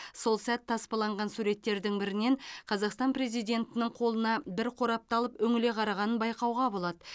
сол сәт таспаланған суреттердің бірінен қазақстан президентінің қолына бір қорапты алып үңіле қарағанын байқауға болады